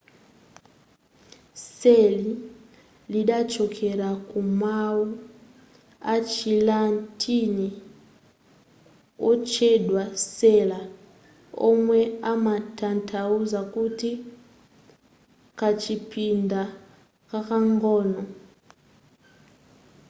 cell lidachokera ku mawu achilatini otchedwa cella omwe amatanthauza kuti kachipinda kakang'ono